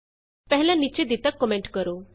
ਪਹਿਲਾਂ ਨੀਚੇ ਦਿਤਾ ਕੋਮੈਂਟ ਕਰੋ